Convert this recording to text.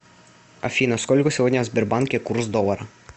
афина сколько сегодня в сбербанке курс доллара